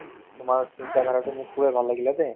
তোমাৰ চিন্তাধাৰাতো মোৰ খুবেই ভাল লাগিলে দে